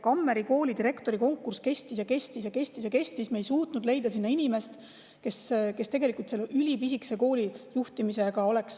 Kammeri Kooli direktori konkurss kestis ja kestis ja kestis ja kestis – me ei suutnud leida sinna inimest, kes oleks valmis selle ülipisikese kooli juhtimisega tegelema.